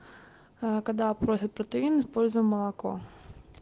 аа когда просят протеин используем молоко